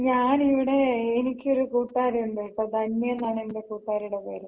ഞാനിവിടെ എനിക്കൊരു കൂട്ടാരി ഒണ്ട് കേട്ടാ. ധന്യയെന്നാണ് എന്‍റെ കൂട്ടാരിട പേര്.